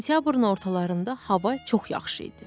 Sentyabrın ortalarında hava çox yaxşı idi.